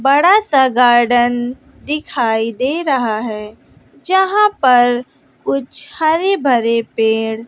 बड़ा सा गार्डन दिखाई दे रहा है। जहां पर कुछ हरे भरे पेड़--